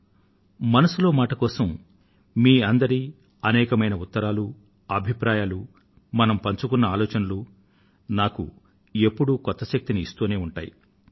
మన్ కీ బాత్ మనసులో మాట కోసం మీ అందరి అనేకమైన ఉత్తరాలు అభిప్రాయాలు మనం పంచుకున్న ఆలోచనలు నాకు ఎప్పుడూ కొత్త శక్తిని ఇస్తూ ఉంటాయి